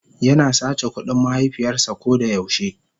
yana sace kudin mahaifiyars a kodayau she.